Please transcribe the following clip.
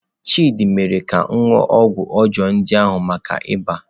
Chidị mere ka m ṅụọ ọgwụ ọjọọ ndị ahụ maka iba.